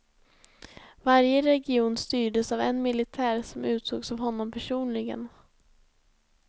Varje region styrdes av en militär, som utsågs av honom personligen.